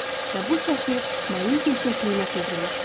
Və bu çəki mənim gerçəkliyimə çevrilmişdi.